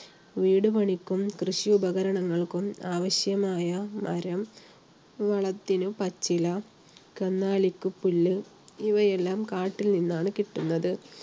വീടുപണിക്കും, കൃഷി ഉപകരണങ്ങൾക്കും ആവശ്യമായ മരം, വളത്തിന് പച്ചില, കന്നുകാലിക്ക് പുല്ല് ഇവയെല്ലാം കാട്ടിൽ നിന്നാണ് കിട്ടുന്നത്.